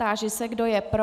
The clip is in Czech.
Táži se, kdo je pro.